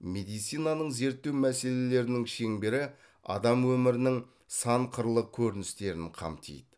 медицинаның зерттеу мәселелерінің шеңбері адам өмірінің сан қырлы көріністерін қамтиды